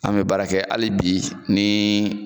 An mɛ baara kɛ hali bi ni